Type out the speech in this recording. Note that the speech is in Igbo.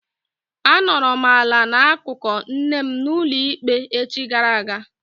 A nọrọ m ala n'akụkụ nne m n'ụlọ ikpe echi gara aga.